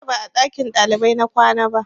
Jiya ba a ɗakin ɗalibai na kwana ba